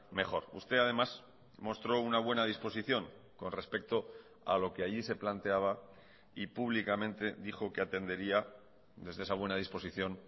mejor usted además mostró una buena disposición con respecto a lo que allí se planteaba y públicamente dijo que atendería desde esa buena disposición